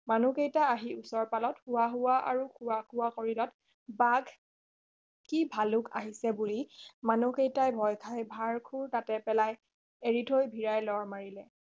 মানুহ কেইটা আহি ওচৰ পালত হোৱা হোৱা আৰুখোৱা খোৱা কৰিলত বাঘ কি ভালুক আহিছে বুলি মানুহ কেইটা ভয় খাই ভাৰ খোৰ তাতে পেলাই এৰি থৈ ভিৰাই লৰ মাৰিলে